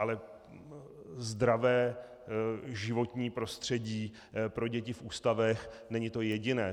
Ale zdravé životní prostředí pro děti v ústavech není to jediné.